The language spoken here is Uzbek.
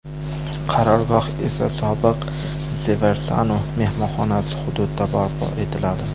Qarorgoh esa sobiq The Varsano mehmonxonasi hududida barpo etiladi.